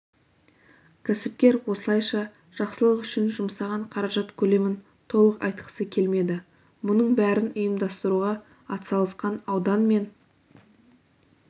кәсіпкер осылайша жақсылық үшін жұмсаған қаражат көлемін толық айтқысы келмеді мұның бәрін ұйымдастыруға атсалысқан аудан мен